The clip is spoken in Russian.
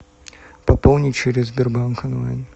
пополнить через сбербанк онлайн